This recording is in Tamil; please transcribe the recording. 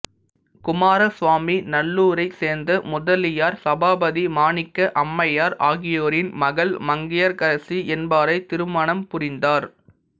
குமாரசுவாமி நல்லூரைச் சேர்ந்த முதலியார் சபாபதி மாணிக்க அம்மையார் ஆகியோரின் மகள் மங்கையர்க்கரசி என்பாரைத் திருமணம் புரிந்தார்